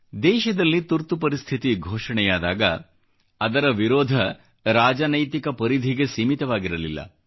ದೇಶದಲ್ಲಿ ತುರ್ತುಪರಿಸ್ಥಿತಿ ಘೋಷಣೆಯಾದಾಗ ಅದರ ವಿರೋಧ ರಾಜನೈತಿಕ ಪರಿಧಿಗೆ ಸೀಮಿತವಾಗಿರಲಿಲ್ಲ